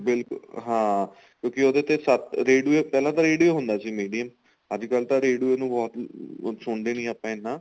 ਬਿਲਕੁਲ ਹਾਂ ਕਿਉਂਕਿ ਉਹਦੇ ਤੇ ਸਤ radio ਪਹਿਲਾਂ ਤਾਂ radio ਹੁੰਦਾ ਸੀ medium ਅੱਜਕਲ ਤਾਂ radio ਨੂੰ ਹੁਣ ਸੁਣਦੇ ਨੀਂ ਆਪਾਂ ਇੰਨਾ